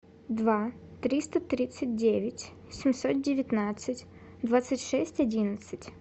два триста тридцать девять семьсот девятнадцать двадцать шесть одиннадцать